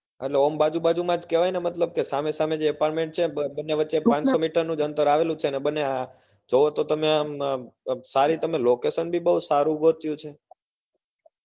એટલે આમ બાજુ બાજુ માં જ કેવાય ને મતલબ સામે સામે જે apartment છે બન્ને વચે પાંચસો meter નું અંતર આવેલું છે અને બન્ને તમે જોવો સારી તમે location બી બઉ સારું ગોત્યું છે